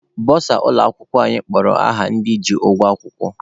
Bọsa ụlọ akwụkwọ anyị kpọrọ aha ndị ji ụgwọ akwụkwọ.